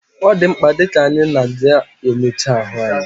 Odimkpa di ka anyi na aga enyocha ahu anyi